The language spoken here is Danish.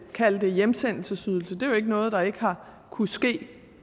kalde det hjemsendelsesydelse det er jo ikke noget der ikke har kunnet ske